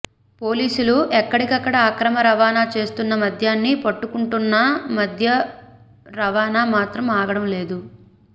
పోలీసులు ఎక్కడికక్కడ అక్రమ రవాణా చేస్తున్న మద్యాన్ని పట్టుకుంటున్నా మద్యం రవాణా మాత్రం ఆగడం లేదు